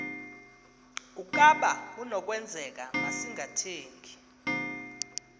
ukaba kunokwenzeka masingathengi